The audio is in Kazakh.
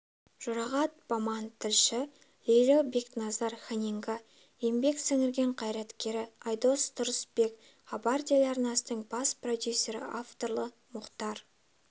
жұрағат баман тілші лейло бекназар-ханинга еңбек сіңірген қайраткері айдос тұрысбек хабар телеарнасының бас продюсері авторлары мұхтар